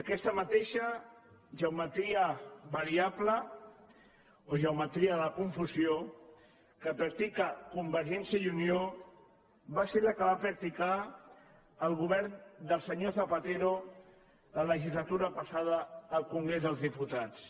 aquesta mateixa geometria variable o geometria de la confusió que practica convergència i unió va ser la que va practicar el govern del senyor zapatero la legislatura passada al congrés dels diputats